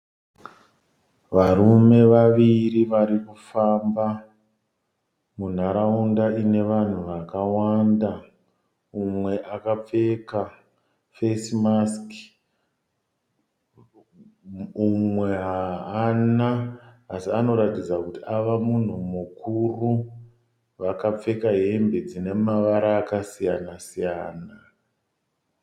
Varume vaviri varikufamba munharaunda ine vanhu vakawanda. Mumwe akapfeka fesimasiki umwe haana. Asi anoratidza kuti avamunhu mukuru. Vakapfeka hembe dzine mavara akasiyana siyana.